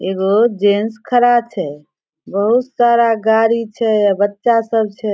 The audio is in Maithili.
एगो जेंट्स खड़ा छै बहुत सारा गाड़ी छै बच्चा सब छै ।